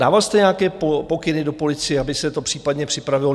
Dával jste nějaké pokyny do policie, aby se to případně připravilo?